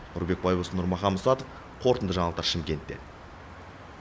нұрбек байбосын нұрмахан мұсатов қорытынды жаңалықтар шымкенттен